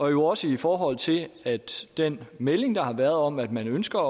er jo også i forhold til den melding der har været om at man ønsker